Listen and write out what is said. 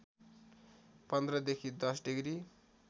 १५ देखि १० डिग्री